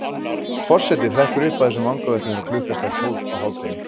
Forsetinn hrekkur upp af þessum vangaveltum þegar klukkan slær tólf á hádegi.